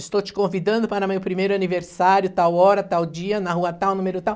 Estou te convidando para o meu primeiro aniversário, tal hora, tal dia, na rua tal, número tal.